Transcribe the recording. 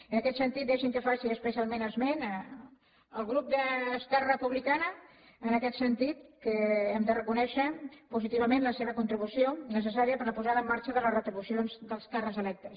i en aquest sentit deixi’m que faci especialment esment del grup d’esquerra republicana en aquest sentit que hem de reconèixer positi vament la seva contribució necessària per a la posa da en marxa de les retribucions dels càrrecs electes